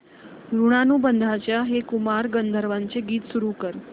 ऋणानुबंधाच्या हे कुमार गंधर्वांचे गीत सुरू कर